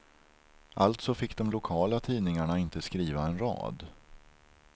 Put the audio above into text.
Alltså fick de lokala tidningarna inte skriva en rad.